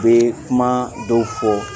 U bɛ kuma dɔw fo